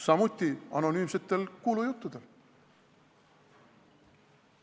Samuti anonüümsetel kuulujuttudel.